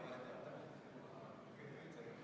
Igal teol on tagajärjed ja täna on kokku lepitud selline taktika.